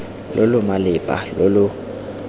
lo lo malepa lo lo